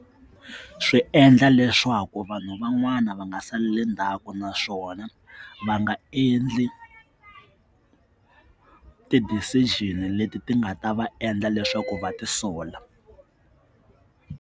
Swi endla leswaku vanhu van'wana va nga saleli ndzhaku naswona va nga endli ti-decision leti ti nga ta va endla leswaku va tisola.